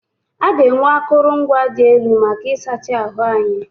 A ga-enwe akụrụngwa dị elu maka ịsacha ahụ anyị.